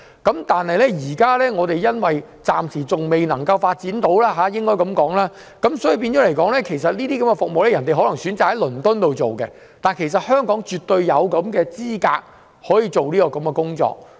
但是，由於我們暫時仍未能提供這些服務，船隻便選擇在倫敦接受這些服務。香港其實絕對有能力可以做這些工作。